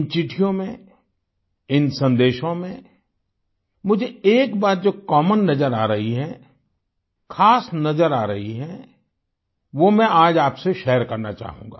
इन चिट्ठियों में इन संदेशों में मुझे एक बात जो कॉमन नजर आ रही है ख़ास नजर आ रही है वो मैं आज आपसे शेयर करना चाहूँगा